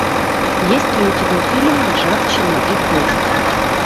есть ли у тебя фильм ржавчина и кость